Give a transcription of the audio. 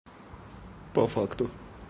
по факту